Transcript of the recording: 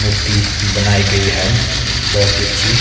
मूर्ति बनाई गई है बोहोत ही अच्छी--